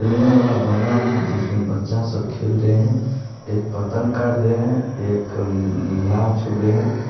खेलने वाला बगान है जिसमें बच्चा सब खेल रहे हैं। एक पतंग काट रहे हैं एक नार छू रहे।